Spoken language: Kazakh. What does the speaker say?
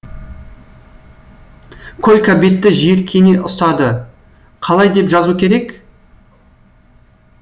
колька бетті жиіркене ұстады қалай деп жазу керек